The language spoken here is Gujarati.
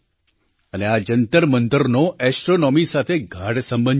અને આ જંતરમંતરનો ઍસ્ટ્રૉનૉમી સાથે ગાઢ સંબંધ છે